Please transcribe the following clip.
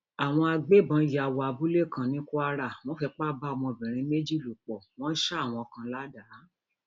àwọn agbébọn yà wọ abúlé kan ní kwara wọn fipá bá obìnrin méjì lò pọ wọn ṣa àwọn kan ládàá